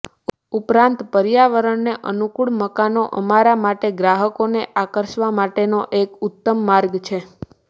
ઉપરાંત પર્યાવરણને અનુકૂળ મકાનો અમારા માટે ગ્રાહકોને આકર્ષવા માટેનો એક ઉત્તમ માર્ગ છે